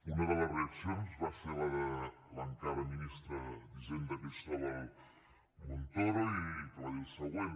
una de les reaccions va ser la de l’encara ministre d’hisenda cristóbal montoro que va dir el següent